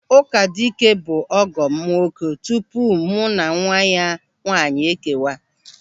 Ụkadike bụ ọgọ m nwoke tupu mụ na nwa ya nwaanyị ekewa.